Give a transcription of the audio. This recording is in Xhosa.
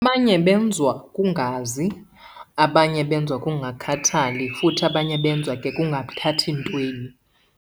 Abanye benziwa kungazi, abanye benziwa kukungakhathali futhi abanye benziwa ke kungathathi ntweni.